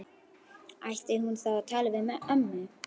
Ætti hún þá að tala við ömmu?